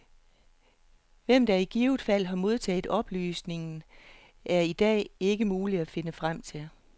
Hvem, der i givet fald har modtaget oplysningen, er det i dag ikke muligt at finde frem til.